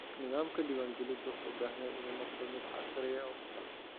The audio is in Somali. Nidaamka diiwaangelintu wuxuu u baahan yahay inuu noqdo mid casri ah oo hufan.